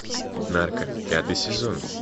нарко пятый сезон